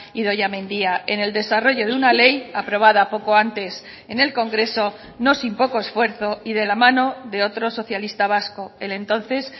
idoia mendia en el desarrollo de una ley aprobada poco antes en el congreso no sin poco esfuerzo y de la mano de otro socialista vasco el entonces